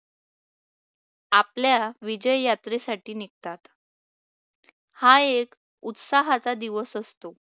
आपल्या विजय यात्रेसाठी निघतात. हा एक उत्साहाचा दिवस असतो.